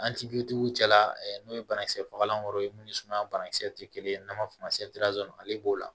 tigiw cɛla n'o ye banakisɛ fagalanw ye mun ni sumaya banakisɛ tɛ kelen n'an b'a fɔ o ma ale b'o la